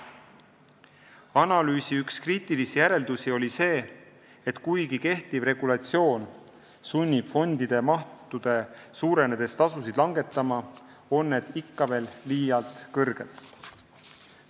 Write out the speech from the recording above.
Analüüsi üks kriitilisi järeldusi oli see, et kuigi kehtiv regulatsioon sunnib fonde mahtude suurenedes tasusid langetama, on need ikka veel liialt kõrged.